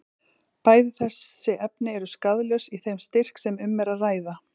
Bæði þessi efni eru skaðlaus í þeim styrk sem um er að ræða.